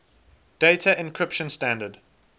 data encryption standard